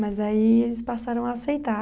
Mas daí eles passaram a aceitar.